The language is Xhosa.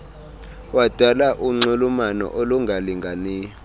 wadala unxulumano olungalinganiyo